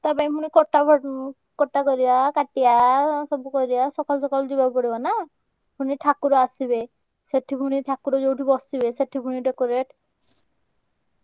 ତା ପାଇଁ ପୁଣି କଟା ବ ଉଁ କଟା କରିଆ କା~ ଟିଆ~ ସବୁ କରିଆ ସକାଳୁ ସକାଳୁ ଯିବାକୁ ପଡିବ ନା। ପୁଣି ଠା~ କୁର~ ଆସିବେ ସେଠି ପୁଣି ଠାକୁର ଯୋଉଠି ବସିବେ ସେଠି ପୁଣି decorate।